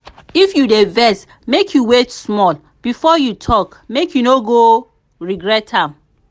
if you dey vex make you wait small before you talk make you no go regret am.